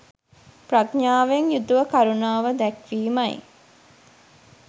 ප්‍රඥාවෙන් යුතුව කරුණාව දැක්වීමයි.